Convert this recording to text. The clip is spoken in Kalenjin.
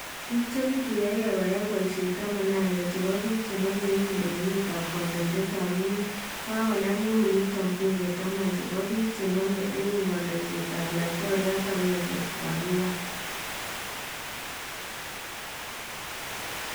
Biik chekituyokee koyai boyisheet 11 chebo biik chename eun lewenetab kandoindetab emet kokanam eun yutoo buunke 10 chebo biik chename eun kandoisetab laitoriat agenge kokakwiil